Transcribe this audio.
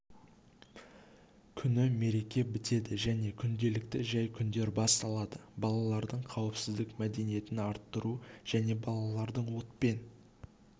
күні мереке бітеді және күнделікті жай күндер басталады балалардың қауіпсіздік мәдениетін арттыру және балалардың отпен